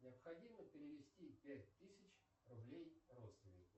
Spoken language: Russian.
необходимо перевести пять тысяч рублей родственнику